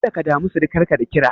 Kada ka damu sirikarka da kira.